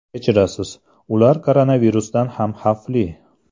Kechirasiz, ular koronavirusdan ham xavfli.